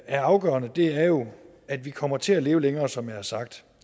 er afgørende er jo at vi kommer til at leve længere som jeg har sagt